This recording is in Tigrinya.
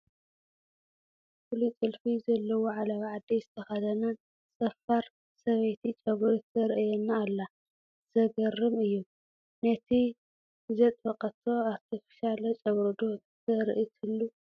ፍሉይ ጥልፊ ዘለዎ ዓለባ ዓዲ ዝተኸደነት፡፡ ፀፋር ሰበይቲ ጨጉሪ ተርእየና ኣላ፡፡ ዝገርም እዩ፡፡ ናይ ንዘጥበቐቶ ኣርተፊሻለ ጨጉሪ ዶ ተርኢ ትህሉ፡፡